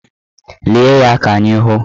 Lie ya ka anyị hụ!